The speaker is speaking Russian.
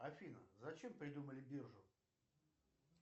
афина зачем придумали биржу